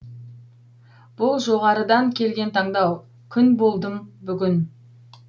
бұл жоғарыдан келген таңдау күн болдым бүгін